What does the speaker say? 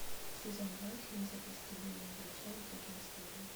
сезон два фильм записки юного врача и другие истории